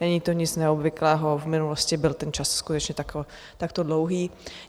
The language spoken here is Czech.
Není to nic neobvyklého, v minulosti byl ten čas skutečně takto dlouhý.